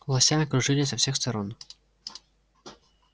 лося окружили со всех сторон